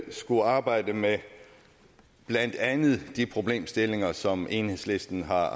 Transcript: skulle arbejde med blandt andet de problemstillinger som enhedslisten har